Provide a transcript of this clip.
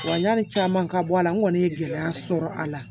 Wa yani caman ka bɔ a la n kɔni ye gɛlɛya sɔrɔ a la